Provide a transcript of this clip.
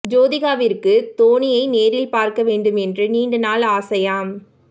ஜோதிகாவிற்கு தோனியை நேரில் பார்க்க வேண்டும் என்று நீண்ட நாள் ஆசையாம்